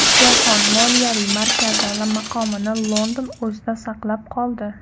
Jahon moliyaviy markazi maqomini London o‘zida saqlab qoldi.